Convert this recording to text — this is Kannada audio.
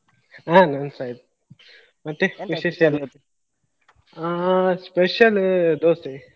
ಹ ನಂದುಸಾ ಆಯ್ತು ಮತ್ತೆ ವಿಶೇಷಯೆಲ್ಲ? ಹಾ special ದೋಸೆ.